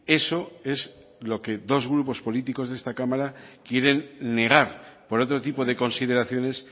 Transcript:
eso es lo que dos grupos políticos de esta cámara quieren negar por otro tipo de consideraciones